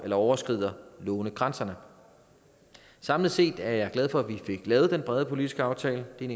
overskrider lånegrænserne samlet set er jeg glad for at vi fik lavet den brede politiske aftale det er